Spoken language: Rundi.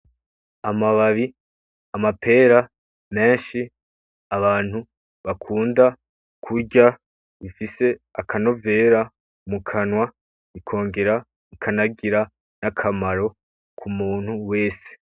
Amababi, amapera menshi, abantu bakunda kurya bifise akanovera mukanwa ikongera ikanagira nakamaro k'umuntu wese.